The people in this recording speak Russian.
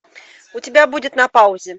у тебя будет на паузе